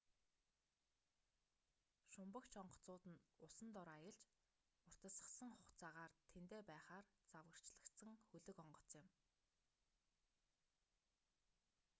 шумбагч онгоцнууд нь усан дор аялж уртасгасан хугацаагаар тэндээ байхаар загварчлагдсан хөлөг онгоц юм